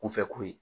Kunfɛ ko ye